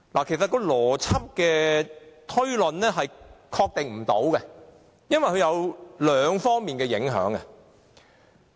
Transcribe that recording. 其實按邏輯推論是無法確定的，因為它有兩方面的影響。